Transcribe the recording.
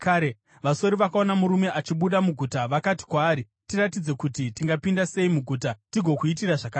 Vasori vakaona murume achibuda muguta vakati kwaari, “Tiratidze kuti tingapinda sei muguta tigokuitira zvakanaka.”